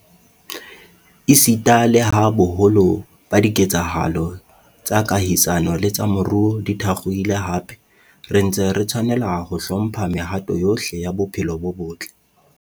Esita leha boholo ba dike tsahalo tsa kahisano le tsa moruo di thakgohile hape, re ntse re tshwanela ho hlo mpha mehato yohle ya bophelo bo botle.